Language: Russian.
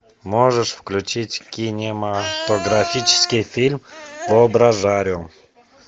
можешь включить кинематографический фильм воображариум